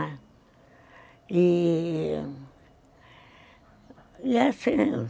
E... assim,